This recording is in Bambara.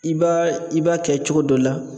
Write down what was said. I b'a i b'a kɛ cogo dɔ la.